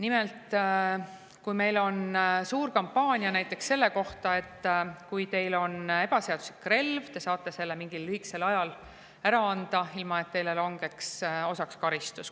Nimelt, kui teil on ebaseaduslik relv, siis te saate selle mingi lühikese aja ära anda, ilma et teile langeks osaks karistus.